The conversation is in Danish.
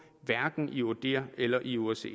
hverken i odihr eller i osce